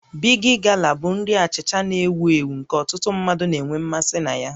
Big Gala bụ nri achịcha achịcha na-ewu ewu nke ọtụtụ mmadụ na-enwe mmasị na ya